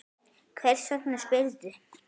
Hvers vegna spyrðu?